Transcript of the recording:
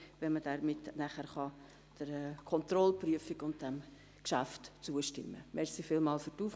Wir werden die Zahlen zur Kontrollprüfung gerne vorlegen.